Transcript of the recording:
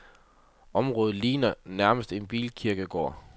Området ligner nærmest en bilkirkegård.